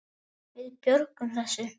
Við björgum þessu.